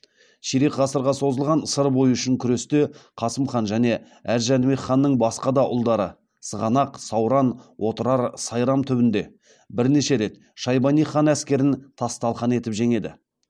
ширек ғасырға созылған сыр бойы үшін күресте қасым хан және әз жәнібек ханның басқа да ұлдары сығанақ сауран отырар сайрам түбінде бірнеше рет шайбани хан әскерін тас талқан етіп жеңеді